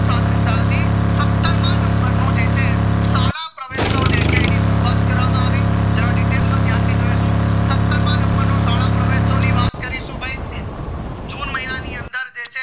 પ્રાથમિક શાળા થી સત્તર માં number નું છે સાલા પ્રવેહ્સ સવ જે છે કરવામાં આવી જરા detail માં ધ્યાન થી જોઈશું સત્તર માં number નો શાળા પરવેશ્ત્સવ ની વાત કરીધું ભય june મહિનાની અંદર જે છે